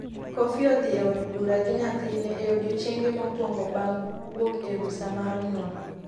coffey odhi e od bura gi nyathina e odiechienge mokuong bang' wuok e rusa mar nyuol